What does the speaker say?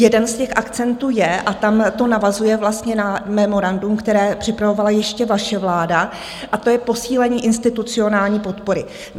Jeden z těch akcentů je, a tam to navazuje vlastně na memorandum, které připravovala ještě vaše vláda, a to je posílení institucionální podpory.